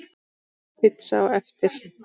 Pizza á eftir.